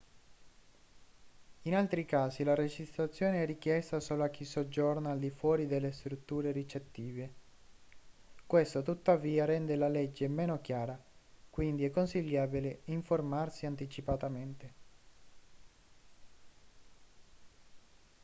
in altri casi la registrazione è richiesta solo a chi soggiorna al di fuori delle strutture ricettive questo tuttavia rende la legge meno chiara quindi è consigliabile informarsi anticipatamente